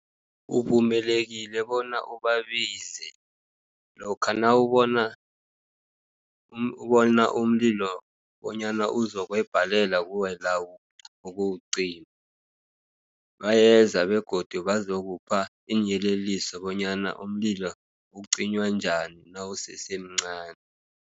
Uvumelekile bona ubabize, lokha nawubona bona umlilo bonyana uzokwebhalela kuwe la, ukuwucima. Bayeza begodu bazokupha iinyeleliso bonyana umlilo ucinywa njani nawusesemncani.